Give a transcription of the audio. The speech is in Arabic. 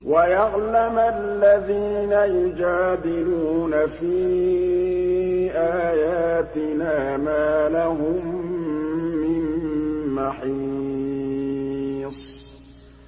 وَيَعْلَمَ الَّذِينَ يُجَادِلُونَ فِي آيَاتِنَا مَا لَهُم مِّن مَّحِيصٍ